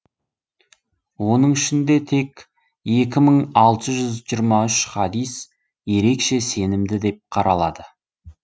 оның ішінде тек екі мың алты жүз жиырма үш хадис ерекше сенімді деп қаралады